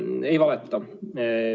Ma ei valeta.